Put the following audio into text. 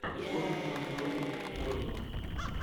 тоттенхэм против борнмут